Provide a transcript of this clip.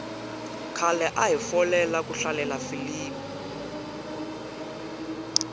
khale ahi folela ku hlalela filimi